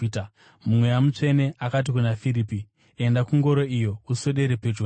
Mweya Mutsvene akati kuna Firipi, “Enda kungoro iyo, uswedere pedyo nayo.”